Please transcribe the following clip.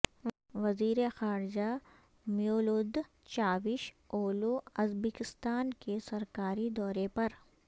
وزیر خارجہ Mevlut Cavusoglu Uzbekistan کے سرکاری دورے پر